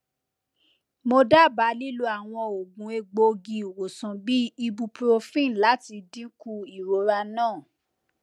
mo daba lilo awọn oogun egboogi iwosan bi ibuprofen lati dinku irora naa